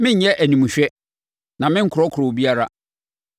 Merenyɛ animhwɛ na merenkorɔkorɔ obiara.